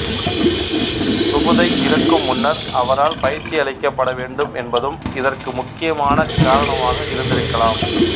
சுபுதை இறக்கும் முன்னர் அவரால் பயிற்சி அளிக்கப்பட வேண்டும் என்பதும் இதற்கு முக்கியமான காரணமாக இருந்திருக்கலாம்